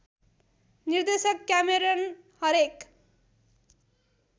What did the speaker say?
निर्देशक क्यामेरन हरेक